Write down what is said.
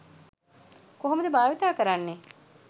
කොහොමද භාවිතා කරන්නේ.